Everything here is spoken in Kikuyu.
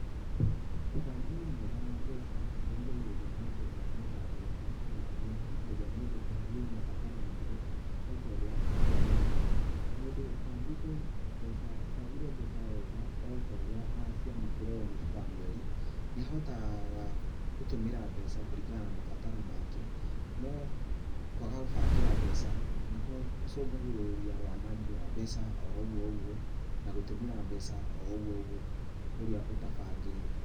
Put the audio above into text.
Ũbangi mwega wa mbeca nĩ ũrigagĩrĩria mũndũ kwananga mbeca, na nĩ ihotithagia mũndũ kũhingia mabataro make, o ta ũrĩa abangĩire. Mũndũ ũbangĩte ũbangĩire mbeca wega o ta ũrĩa araciamũkĩra mũioo wa mweri, nĩ ahotaga gũtũmĩra mbeca kũringana na mabataro make, no kwaga gũbangĩra mbeca, nĩ gũcũngagĩrĩria wanangi wa mbeca o ũguo ũguo na gũtũmĩra mbeca o ũguo ũguo ũrĩa ũtabangĩire.